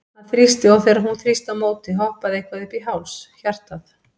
Hann þrýsti, og þegar hún þrýsti á móti, hoppaði eitthvað upp í háls hjartað?